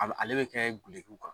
A b ale bɛ kɛ gelekiw kan